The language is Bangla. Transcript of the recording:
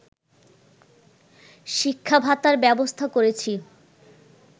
শিক্ষা ভাতার ব্যবস্থা করেছি